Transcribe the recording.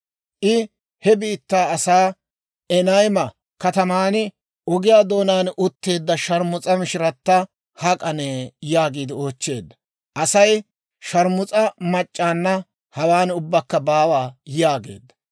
I he biittaa asaa, «Enayma kataman, ogiyaa doonaan utteedda sharmus'a mishirata hak'anee?» yaagiide oochcheedda. Aasi, «Sharmus'a mac'c'aanna hawaan ubbakka baawa» yaageedda.